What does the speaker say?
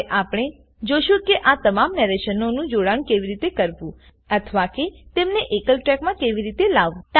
હવે આપણે જોશું કે આ તમામ નરેશનો નું જોડાણ કેવી રીતે કરવું અથવા કે તેમને એકલ ટ્રેકમાં કેવી રીતે લાવવું